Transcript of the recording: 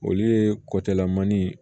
Olu ye kɔtalamani